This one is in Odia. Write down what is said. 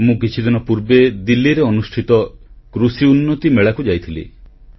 ମୁଁ କିଛିଦିନ ପୂର୍ବେ ଦିଲ୍ଲୀରେ ଅନୁଷ୍ଠିତ କୃଷି ଉନ୍ନତି ମେଳାକୁ ଯାଇଥିଲି